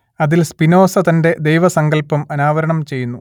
അതിൽ സ്പിനോസ തന്റെ ദൈവസങ്കല്പം അനാവരണം ചെയ്യുന്നു